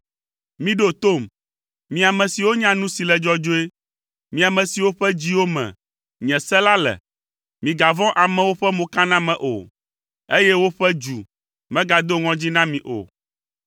“Miɖo tom, mi ame siwo nya nu si le dzɔdzɔe. Mi ame siwo ƒe dziwo me nye se la le, migavɔ̃ amewo ƒe mokaname o, eye woƒe dzu megado ŋɔdzi na mi o,